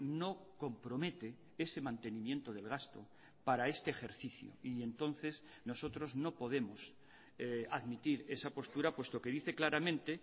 no compromete ese mantenimiento del gasto para este ejercicio y entonces nosotros no podemos admitir esa postura puesto que dice claramente